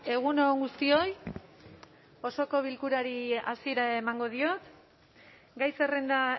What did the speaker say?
egun on guztioi osoko bilkurari hasiera emango diot gai zerrenda